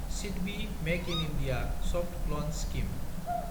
SIDBI make in India सफ्त लवान scheme